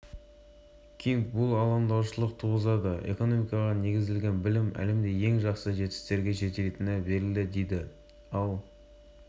кинг бұл алаңдаушылық туғызады экономикаға негізделген білім әлемде ең жақсы жетістіктерге жетелейтіні белгілі дейді ал